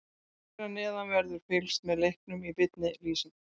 Hér að neðan verður fylgst með leiknum í beinni lýsingu.